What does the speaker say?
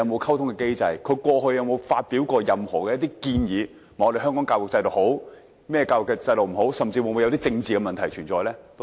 其他地方過去曾否發表過任何建議，指香港制度哪些地方好，哪些地方不好，甚至會否有政治的問題存在呢？